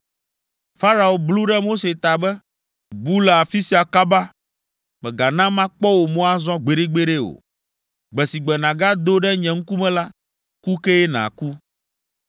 Farao blu ɖe Mose ta be, “Bu le afi sia kaba! Mègana makpɔ wò mo azɔ gbeɖegbeɖe o. Gbe si gbe nàgado ɖe nye ŋkume la, ku kee nàku.”